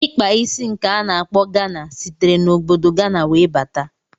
Ikpa isi nke a na-akpọ Gana sitere na obodo Gana wee bata.